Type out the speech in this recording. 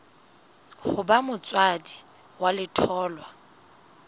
ho ba motswadi wa letholwa